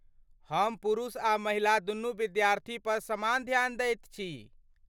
हम पुरुष आ महिला दुनू विद्यार्थी पर समान ध्यान दैत छी।